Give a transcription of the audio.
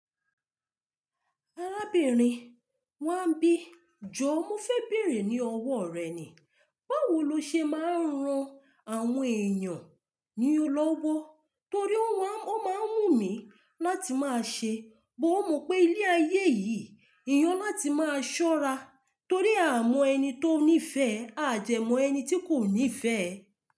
Arábìnrin Wáńbì, jọ mo fẹ́ bèèrè ní ọwọ́ rẹ ni, báwo lo ṣe máa ń ran àwọn èèyàn ní ọlọ́wọ́? Torí ó máa ń wù mí láti máa ṣe, bó o mo pé ilé ayé yìí, eyàn láti máa ṣọ́ra torí a mọ ẹni tó ní ìfẹ́ a dẹ mọ ẹni tí kò ní ìfẹ́.